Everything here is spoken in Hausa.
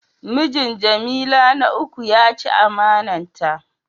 Mijin jamila na uku ya chi amana ta.